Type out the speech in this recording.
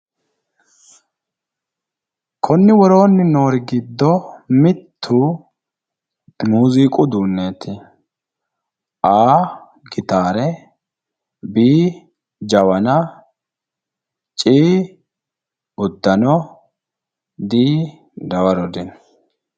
konni woroonni noori giddo mittu muziiqu uduunneeti,A gitaare B jawana C uddano D dawaro dino.